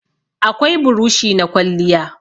Akwai burushi na kwalliya.